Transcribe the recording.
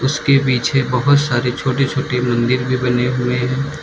उसके पीछे बहोत सारे छोटे छोटे मंदिर भी बने हुए है।